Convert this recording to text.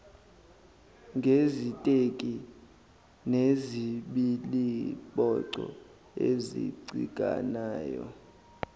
ngeziteki nezibiliboco ezicikanayo